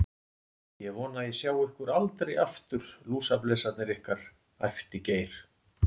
Ég vona að ég sjái ykkur aldrei aftur, lúsablesarnir ykkar, æpti Geir.